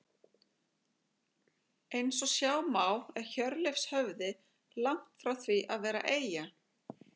eins og sjá má er hjörleifshöfði langt frá því að vera eyja